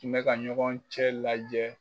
Kun bɛ ka ɲɔgɔn cɛ lajɛ